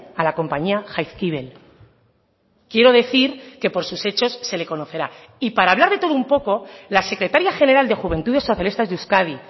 a la compañía jaizkibel quiero decir que por sus hechos se le conocerá y para hablar de todo un poco la secretaria general de juventudes socialistas de euskadi